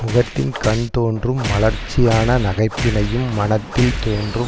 முகத்தின்கண் தோன்றும் மலர்ச்சியான நகைப்பினையும் மனத்தில் தோன்றும்